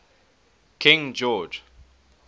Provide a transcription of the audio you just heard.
king george